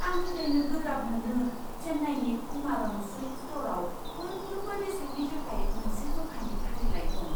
आं फोथायनो गोब्राब मोनो चेन्नाईनि कुमारन सिल्क स्ट'रआव मोनफ्रोमबो बेसादनि थाखाय मोनसे जखानि फारिलाइ दं!